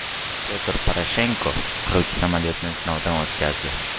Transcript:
Pyotr Poroshenko qiruvchi samolyotni sinovdan o‘tkazdi.